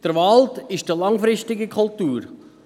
Der Wald ist eine langfristige Kultur.